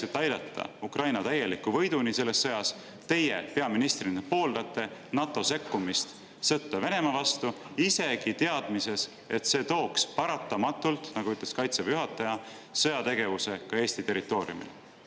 Kas teie peaministrina selleks, et aidata Ukraina selles sõjas täieliku võiduni, pooldate NATO sekkumist sõtta Venemaa vastu, isegi teades, et see tooks paratamatult, nagu ütles Kaitseväe juhataja, kaasa sõjategevuse ka Eesti territooriumil?